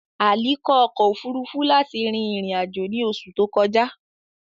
Ali lo ọkọ ofurufu lati rin irin-ajo ni oṣu to kọja.